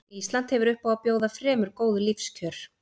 Ísland hefur upp á að bjóða fremur góð lífskjör.